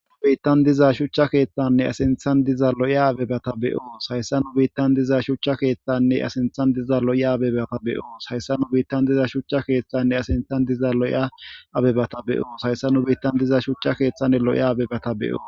Nu biittan diza shuchcha keeththanne a sinthan diza lo'iya abebata be'oos hayssa nu biittan diza shuchcha keeththanne a sinthan diza lo'iya abeba be'so hayssa nu biittan diza shuchcha keeththanne a sintan diza lo'iya abebata be'oos hayssa nu biittan diza shuchcha keeththanne loya abebata be'oos.